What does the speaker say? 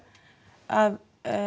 að